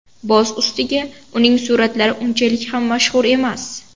Boz ustiga, uning suratlari unchalik ham mashhur emas.